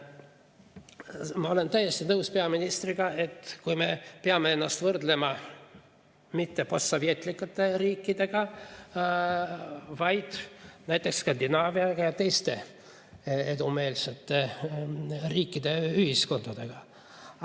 Ma olen täiesti nõus peaministriga, et me peame ennast võrdlema mitte postsovetlike riikidega, vaid näiteks Skandinaavia ja teiste edumeelsete riikide ja ühiskondadega.